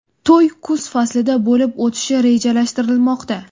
To‘y kuz faslida bo‘lib o‘tishi rejalashtirilmoqda.